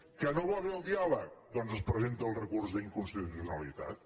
que no va bé el diàleg doncs es presenta el recurs d’inconstitucionalitat